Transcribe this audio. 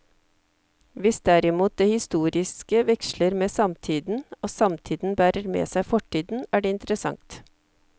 Hvis derimot det historiske veksler med samtiden, og samtiden bærer med seg fortiden, er det interessant.